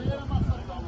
Nə oldu?